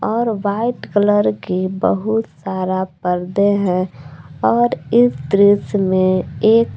और white colour की बहुत सारा पर्दे हैं और इस दृश्य में एक--